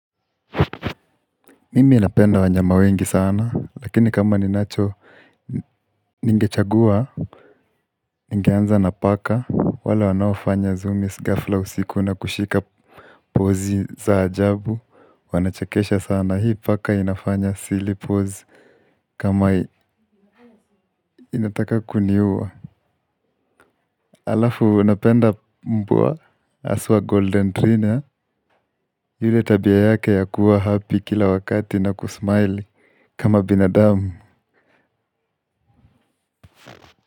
Mimi napenda wanyama wengi sana lakini kama ninacho ningechagua. Ningeanza na paka wale wanaofanya zoomies gafla usiku na kushika pozi za ajabu. Wanachekesha sana hii paka inafanya silly pose kama inataka kuniua. Alafu napenda mbwa haswa golden trina. Yule tabia yake ya kuwa happy kila wakati na kusmile kama binadamu.